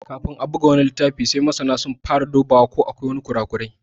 Kafin a buga wani littafi sai masana sun fara dubawa ko akwai ƙura ƙurai.